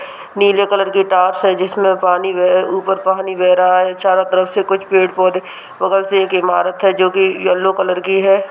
नीले कलर की टाइल्स है जिसमें पानी बेह ऊपर पानी बेह रहा है चारों तरफ से कुछ पेड़-पौधे बगल से एक इमारत है जो की येलो कलर की है।